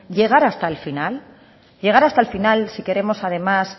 llegar hasta el final llegar hasta el final si queremos además